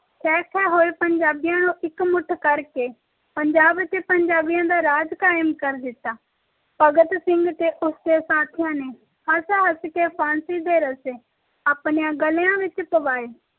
ਖੇਹ ਖੇਹ ਹੋਏ ਪੰਜਾਬੀਆਂ ਨੂੰ ਇਕਮੁੱਠ ਕਰਕੇ ਪੰਜਾਬ ਤੇ ਪੰਜਾਬੀਆਂ ਦਾ ਰਾਜ ਕਾਇਮ ਕਰ ਦਿੱਤਾ ਭਗਤ ਸਿੰਘ ਤੇ ਉਸ ਦੇ ਸਾਥੀਆਂ ਨੇ ਹਸ ਹਸ ਕੇ ਫਾਂਸੀ ਦੇ ਰੱਸੇ ਆਪਣੇ ਗਲੇਆਂ ਵਿਚ ਪਵਾਏ